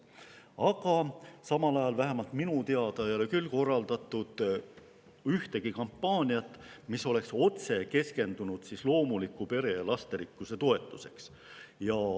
Aga samal ajal ei ole – vähemalt minu teada küll – korraldatud ühtegi kampaaniat, mis oleks otse keskendunud loomuliku pere ja lasterikkuse toetusele.